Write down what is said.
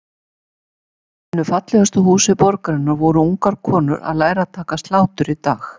Í einu fallegasta húsi borgarinnar voru ungar konur að læra að taka slátur í dag?